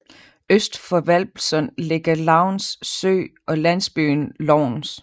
Øst for Hvalpsund ligger Louns Sø og landsbyen Lovns